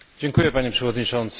Panie Przewodniczący!